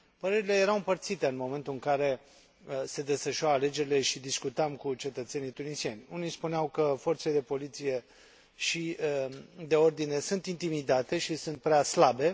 Părerile erau împărțite în momentul în care se desfășurau alegerile și discutam cu cetățenii tunisieni unii spuneau că forțele de poliție și de ordine sunt intimidate și sunt prea slabe